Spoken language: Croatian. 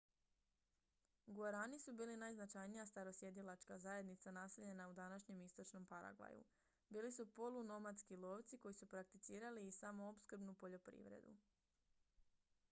guarani su bili najznačajnija starosjedilačka zajednica naseljena u današnjem istočnom paragvaju bili su polunomadski lovci koji su prakticirali i samoopskrbnu poljoprivredu